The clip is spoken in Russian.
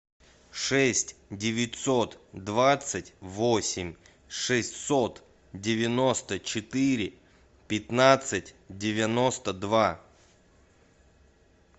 шесть девятьсот двадцать восемь шестьсот девяносто четыре пятнадцать девяносто два